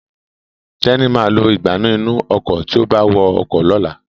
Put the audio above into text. Teni má lo Ìgbánú inú ọkọ̀ tíó bá wá ọkọ̀ lọ̀la